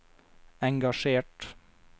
engasjert